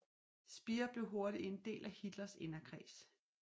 Speer blev hurtigt en del af Hitlers inderkreds